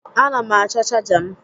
A na m achọ chaja m